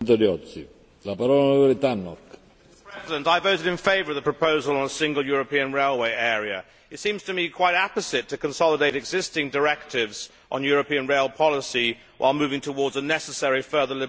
Mr President, I voted in favour of the proposal on a single European railway area. It seems to be quite apposite to consolidate existing directives on European rail policy while moving towards a necessary further liberalisation.